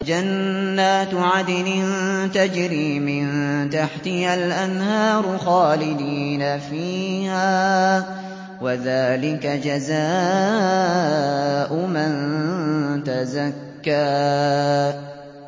جَنَّاتُ عَدْنٍ تَجْرِي مِن تَحْتِهَا الْأَنْهَارُ خَالِدِينَ فِيهَا ۚ وَذَٰلِكَ جَزَاءُ مَن تَزَكَّىٰ